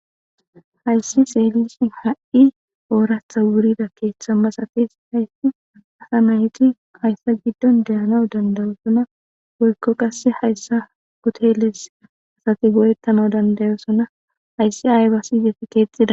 Hayissi xelishin ha,i oratha wurida ketha masatizayiti hayisa gidon de,anawu dandayosona woyiko qasi hayisa huteles asi go, etanawu dandayosona hayissi ayidadiyo kexetide